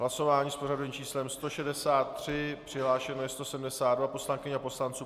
Hlasování s pořadovým číslem 163, přihlášeno je 172 poslankyň a poslanců.